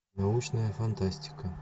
научная фантастика